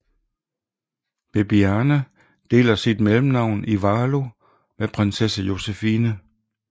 Bebiane deler sit mellemnavn Ivalo med prinsesse Josephine